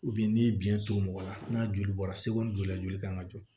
ni biyɛn to mɔgɔ la n'a joli bɔra seko ni joli la joli kan ka jɔ